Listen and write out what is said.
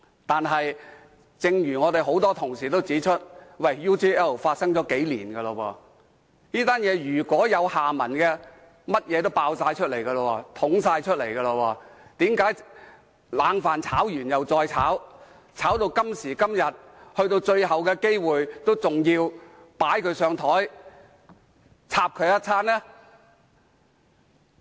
但是，正如我們很多同事都指出 ，UGL 事件是在數年前發生的，如果還有下文，一切應已曝光，為何冷飯炒完又再炒，炒到今時今日，去到最後機會，仍要"擺他上檯"，"插"他一番？